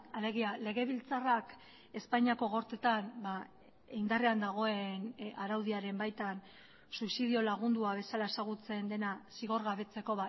alegia legebiltzarrak espainiako gorteetan indarrean dagoen araudiaren baitan suizidio lagundua bezala ezagutzen dena zigorgabetzeko